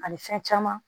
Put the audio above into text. Ani fɛn caman